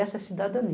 Essa é a cidadania.